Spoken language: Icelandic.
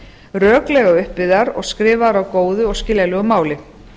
röklega upp byggðar og skrifaðar á góðu og skiljanlegu máli